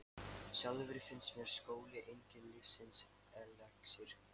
Sjálfri finnst mér skóli enginn lífsins elexír.